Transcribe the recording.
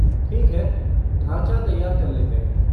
ठीक है, ढाँचा तैयार कर लेते हैं।